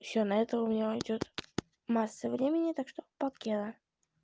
ещё на это у меня уйдёт масса времени так что покеда